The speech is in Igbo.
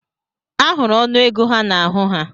Ahụrụ ọnụego ha n'ahụ ha.